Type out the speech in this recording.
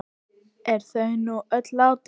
Eru þau nú öll látin.